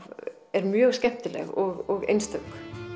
er mjög skemmtileg og einstök